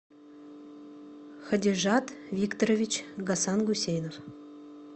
хадижат викторович гасангусейнов